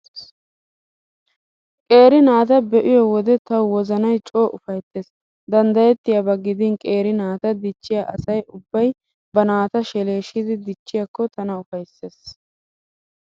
Qeeri naata be'iyo wode tawu wozanay coo ufayttees. Danddayettiyaaba gidin qeeri naata dichchiyaa asay ubbay ba naata sheleeshidi dichchiyaakko tana ufayssees.